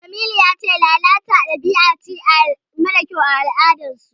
Jamilu ya ce lalata dabi'a ce mara kyau a al'adarsu.